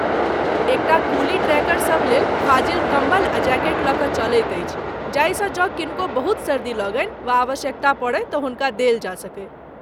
एक टा कुली ट्रेकर सभ लेल फाजिल कम्बल आ जैकेट लऽ कऽ चलैत अछि जाहिसँ जँ किनको बहुत सर्दी लगनि वा आवश्यकता पड़य तँ हुनका देल जा सकय।